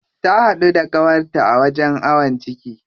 Ta haɗu da ƙawarta a wajen awon ciki.